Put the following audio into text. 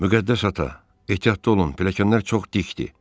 Müqəddəs ata, ehtiyatlı olun, pilləkənlər çox dikdir.